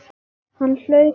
Þetta hlaut að duga.